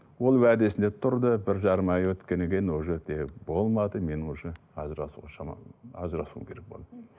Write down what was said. ол уәдесінде тұрды бір жарым ай өткеннен кейін уже де болмады мен уже ажырасуға шамам ажырасуым керек болды